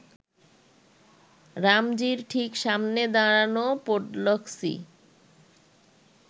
রামজির ঠিক সামনে দাঁড়ানো পোডলস্কি